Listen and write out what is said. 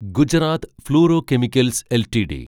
Gujarat fluorochemicals LTD